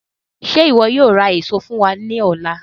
Ṣe iwọ yóò ra eso fun wa ni ọla?